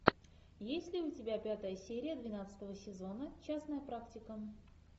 есть ли у тебя пятая серия двенадцатого сезона частная практика